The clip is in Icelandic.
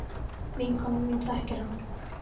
Vinkona mín þekkir hann.